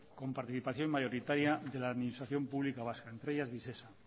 con participación mayoritaria de la administración pública vasca entre ellas visesa